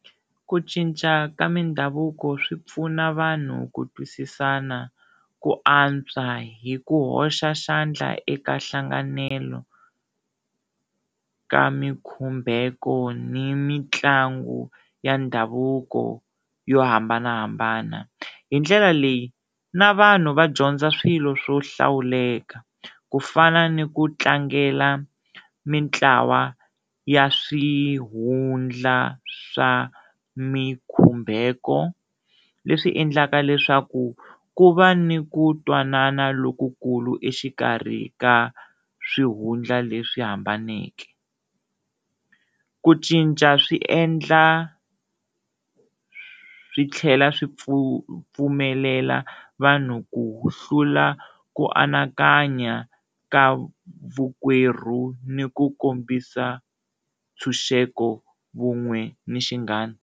Ku cinca ka mindhavuko swi pfuna vanhu ku twisisana ku antswa hi ku hoxa xandla eka nhlanganelo ka mikhumbeko ni mitlangu ya ndhavuko yo hambanahambana hi ndlela leyi na vanhu va dyondza swilo swo hlawuleka ku fana ni ku tlangela mintlawa ya swihundla swa mikhumbeko leswi endlaka leswaku ku va ni ku twanana lokukulu exikarhi ka swihundla leswi hambaneke, ku cinca swi endla swi tlhela swi pfumelela vanhu ku hlula ku anakanya ka vukwerhu ni ku kombisa ntshunxeko, vun'we ni xinghana.